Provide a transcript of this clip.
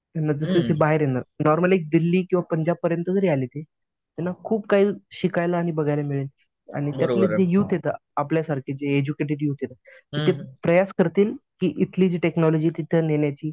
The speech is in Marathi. त्यांना बाहेर येणं नॉर्मल एक दिल्ली पंजाब पर्यंत जरी आले ते त्यांना खूप काही शिकायला आणि बघायला मिळेल. आणि तिथले जे युथ आहे आपल्यासारखे एडज्युकेटेड युथ आहे ते प्रयास करतील की इथली जी टेक्नॉलॉजी तिथे नेण्याची.